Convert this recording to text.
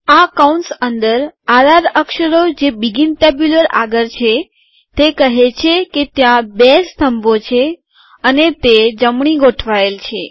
આ કૌંસ અંદર આર આર અક્ષરો જે બીગીન ટેબ્યુલર આગળ છે તે કહે છે કે ત્યાં બે સ્તંભો છે અને તે જમણી તરફ ગોઠવાયેલ છે